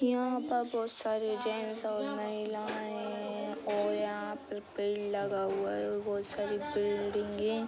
यहाँ पर बहुत सारे जेंट्स और महिलायें हैं और यहाँ पे पेड़ लगा हुआ है और बहुत सारी बिल्डिंगे --